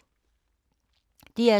DR2